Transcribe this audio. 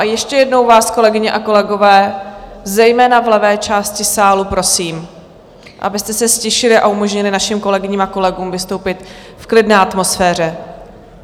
A ještě jednou vás, kolegyně a kolegové, zejména v levé části sálu, prosím, abyste se ztišili a umožnili našim kolegyním a kolegům vystoupit v klidné atmosféře.